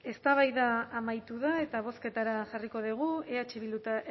eztabaida amaitu da eta bozketara jarriko dugu eh bildu eta